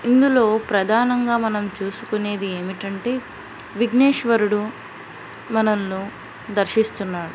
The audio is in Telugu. అందులో ప్రధానంగా మనం చూసుకునేది ఏమిటంటే విగ్నేశ్వరుడు మనలో దర్శిస్తున్నాను.